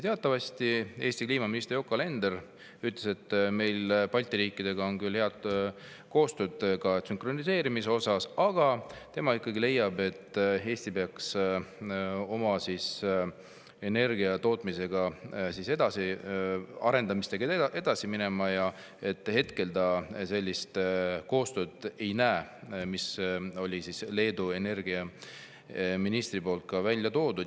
Eesti kliimaminister Yoko Alender ütles, et Balti riikidel on küll hea koostöö, ka sünkroniseerimise osas, aga tema ikkagi leiab, et Eesti peaks oma energiatootmise arendamisega edasi minema, ja hetkel ta sellist koostööd ei näe, mille Leedu energiaminister välja käis.